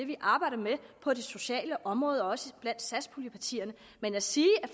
vi arbejder med på det sociale område og også blandt satspuljepartierne men at sige